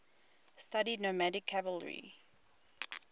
studied nomadic cavalry